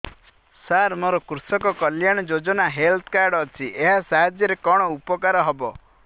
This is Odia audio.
ସାର ମୋର କୃଷକ କଲ୍ୟାଣ ଯୋଜନା ହେଲ୍ଥ କାର୍ଡ ଅଛି ଏହା ସାହାଯ୍ୟ ରେ କଣ ଉପକାର ହବ